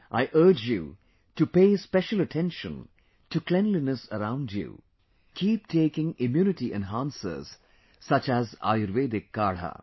I urge you to pay special attention to cleanliness around you and keep taking immunity enhancers such as Ayurvedic kadha